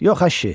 Yox əşi.